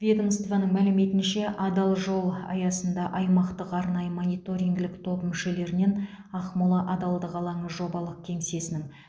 ведомствоның мәліметінше адал жол аясында аймақтық арнайы мониторингілік топ мүшелерінен ақмола адалдық алаңы жобалық кеңсесінің